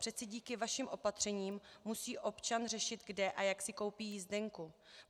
Přeci díky vašim opatřením musí občan řešit, kde a jak si koupí jízdenku.